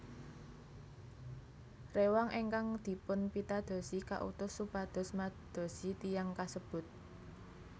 Rewang ingkang dipunpitadosi kautus supados madosi tiyang kasebut